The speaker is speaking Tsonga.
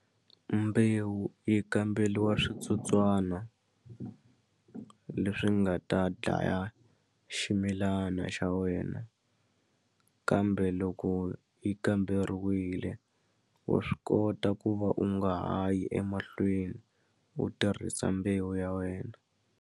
Mbewu yi kambeliwa switsotswana leswi nga ta dlaya ximilana xa wena kambe loko yi kamberiwile wa swi kota ku va u nga ha yi emahlweni u tirhisa mbewu ya wena.